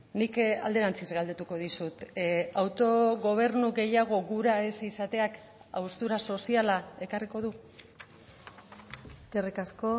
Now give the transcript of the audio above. nik alderantziz galdetuko dizut autogobernu gehiago gura ez izateak haustura soziala ekarriko du eskerrik asko